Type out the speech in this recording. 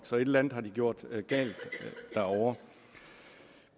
så et eller andet har de gjort galt derovre